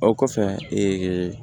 O kɔfɛ